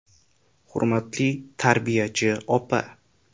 “Hurmatli tarbiyachi opa!